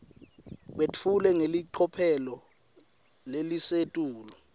kwetfulwe ngelicophelo lelisetulu